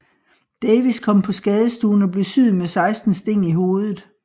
Davies kom på skadestuen og blev syet med seksten sting i hovedet